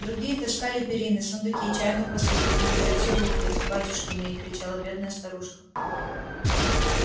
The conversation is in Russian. другие таскали перины сундуки чайную посуду белье и всю рухлядь батюшки мои кричала бедная старушка